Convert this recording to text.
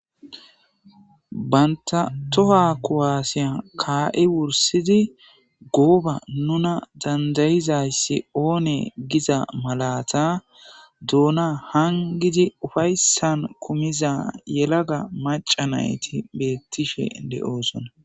banta toha kuwaasiya kaa7i wursidi gooba nuna dandayizayssi oone giza malata doona hangidi ufayssan kumiza yelaga macanayti beettishe de7oosona